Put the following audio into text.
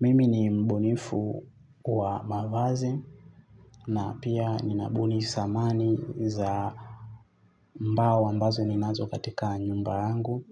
Mimi ni mbunifu wa mavazi na pia ninabuni samani za mbao ambazo ninazo katika nyumba angu.